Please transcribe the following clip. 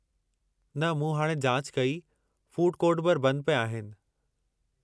न मूं हाणे जाच कई, फ़ूड कोर्ट बि बंदि पिया आहिनि।